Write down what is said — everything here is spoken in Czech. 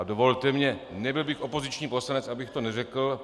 A dovolte mně, nebyl bych opoziční poslanec, abych to neřekl.